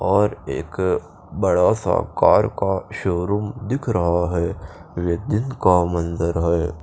और एक बड़ा सा कार का शोरूम दिख रहा है का मंजर है।